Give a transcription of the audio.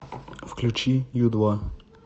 включи ю два